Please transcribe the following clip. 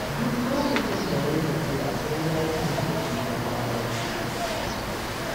Duk lokacin da na yi tafiya sai na yi zazzaɓi na kwana biyu.